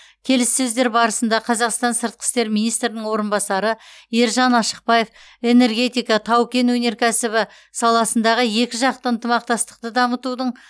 келіссөздер барысында қазақстан сыртқы істер министрінің орынбасары ержан ашықбаев энергетика тау кен өнеркәсібі саласындағы екіжақты ынтымақтастықты дамытудың байланыстарды орнатуға назар аударды